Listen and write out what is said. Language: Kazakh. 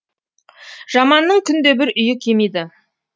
жаманның күнде бір үйі кемиді